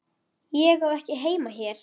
Ég á ekki heima hér.